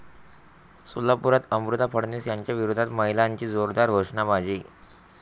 सोलापूरात अमृता फडणवीस यांच्याविरोधात महिलांची जोरदार घोषणाबाजी